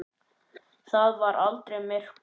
Það var aldrei myrkur.